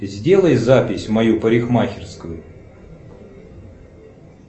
сделай запись в мою парикмахерскую